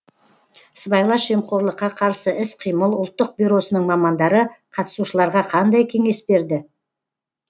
сыбайлас жемқорлыққа қарсы іс қимыл ұлттық бюросының мамандары қатысушыларға қандай кеңес берді